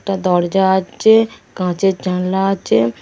একটা দরজা আচে কাচের জানলা আচে।